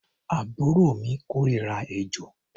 Àbúrò mi kórira ejò.